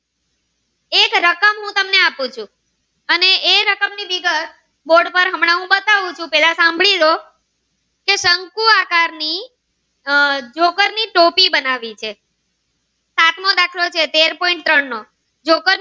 આપું ચુ અને એ રકમ ની વિગત થોડીક વાર હમણાં હું બતાવું ચુ પેલા સાંભળી લ્યો કે શંકુ આહાર ની આહ જોબર ની ટોપી બનાવી છે સાતમો દાખલો છે તેર point ત્રણ નો